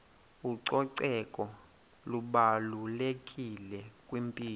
ucoceko lubalulekile kwimpilo